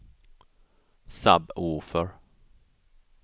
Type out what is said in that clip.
sub-woofer